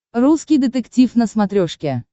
русский детектив на смотрешке